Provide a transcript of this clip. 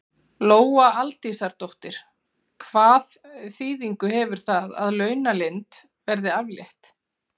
Lóa Aldísardóttir: Hvað þýðingu hefur það að launaleynd verði aflétt?